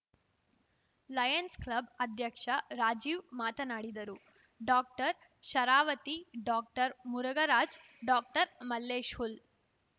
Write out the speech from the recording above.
Lions Club ಅಧ್ಯಕ್ಷ ರಾಜೀವ್‌ ಮಾತನಾಡಿದರು ಡಾಕ್ಟರ್ಶರಾವತಿ ಡಾಕ್ಟರ್ಮುರಘರಾಜ್‌ ಡಾಕ್ಟರ್ಮಲ್ಲೇಶ್‌ ಹುಲ್‌